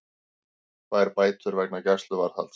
Fær bætur vegna gæsluvarðhalds